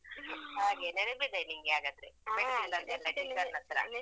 ಹಾ, ಹಾಗೆ ನೆನಪಿದೆ ನಿನ್ಗೆ ಹಾಗಾದ್ರೆ. ಪೆಟ್ಟು ತಿಂದದ್ದೆಲ್ಲಾ teacher ನತ್ರ.